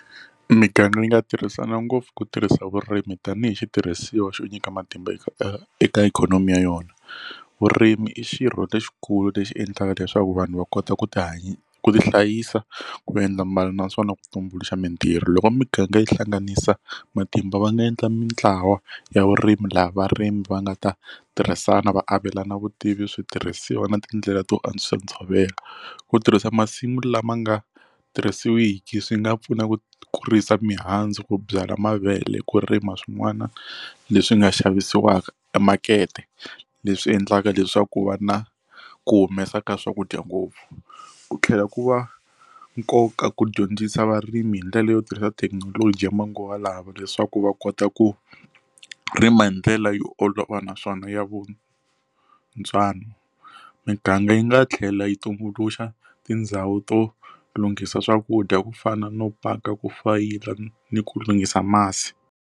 Miganga yi nga tirhisana ngopfu ku tirhisa vurimi tanihi xitirhisiwa xo nyika matimba eka eka ikhonomi ya yona vurimi i xirho lexikulu lexi endlaka leswaku vanhu va kota ku ti ku ti hlayisa ku endla mbala naswona ku tumbuluxa mintirho loko miganga yi hlanganisa matimba va nga endla mintlawa ya vurimi lawa varimi va nga ta tirhisana va avelana vutivi switirhisiwa na tindlela to antswisa ntshovelo ku tirhisa masimu lama nga tirhisiwiki swi nga pfuna ku kurisa mihandzu ku byala mavele ku rima swin'wana leswi nga xavisiwaka e makete leswi endlaka leswaku va na ku humesa ka swakudya ngopfu ku tlhela ku va nkoka ku dyondzisa varimi hi ndlela yo tirhisa thekinoloji ya manguva lawa leswaku va kota ku rima hi ndlela yo olova naswona ya vona ntswalo miganga yi nga tlhela yi tumbuluxa tindhawu to lunghisa swakudya ku fana no paka ku fayila ni ku lunghisa masi.